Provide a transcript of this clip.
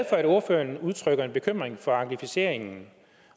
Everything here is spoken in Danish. at ordføreren udtrykker en bekymring for anglificeringen